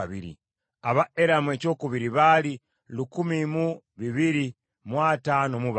ab’e Eramu ekyokubiri baali lukumi mu bibiri mu ataano mu bana (1,254),